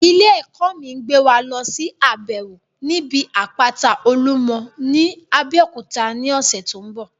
Ilé ẹ̀kọ́ mi ń gbé wa lọsí àbẹ̀wò níbi àpáta olúmọ ní Abeokuta ní ọ̀sẹ̀ tó ń bọ̀